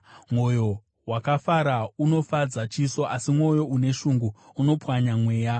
Mwoyo wakafara, unofadza chiso, asi mwoyo une shungu unopwanya mweya.